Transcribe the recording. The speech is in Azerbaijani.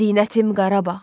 zinətim Qarabağ,